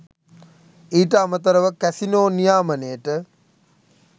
ඊට අමතරව කැසිනෝ නියාමනයට